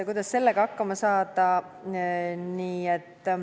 Kuidas sellega hakkama saada?